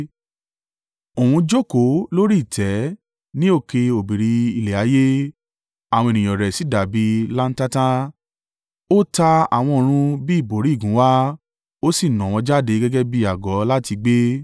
Òun jókòó lórí ìtẹ́ ní òkè òbírí ilẹ̀ ayé, àwọn ènìyàn rẹ̀ sì dàbí i láńtata. Ó ta àwọn ọ̀run bí ìbòrí ìgúnwà, ó sì nà wọ́n jáde gẹ́gẹ́ bí àgọ́ láti gbé.